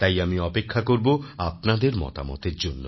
তাই আমি অপেক্ষা করব আপনাদের মতামতের জন্য